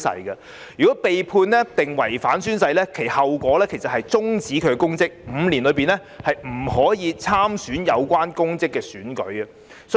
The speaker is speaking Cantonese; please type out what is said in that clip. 如有關人員被判定違反誓言，其後果是終止公職 ，5 年內不可參選有關公職的選舉。